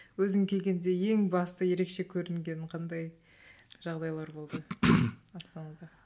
өзің келгенде ең басты ерекше көрінген қандай жағдайлар болды астанада